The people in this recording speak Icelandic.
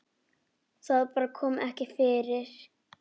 Það bara kom ekki fyrir.